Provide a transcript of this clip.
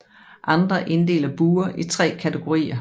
Andre inddeler buer i tre kategorier